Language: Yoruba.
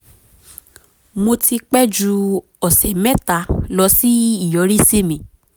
mo ti pẹ́ ju ọ̀sẹ̀ mẹ́ta lọ sí ìyọrísí mi